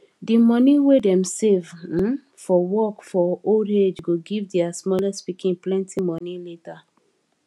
di money wey dem save um for work for old age go give their smallest pikin plenty money later